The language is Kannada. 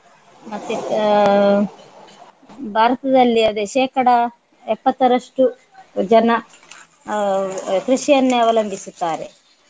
ಮತ್ತೆ ಆಹ್ ಭಾರತದಲ್ಲಿ ಅದೇ ಶೇಕಡ ಎಪ್ಪತ್ತರಷ್ಟು ಜನ ಅಹ್ ಕೃಷಿಯನ್ನೆ ಅವಲಂಬಿಸುತ್ತಾರೆ.